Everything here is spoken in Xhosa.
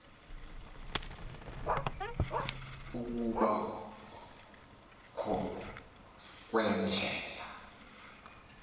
ukuba kho kweendlela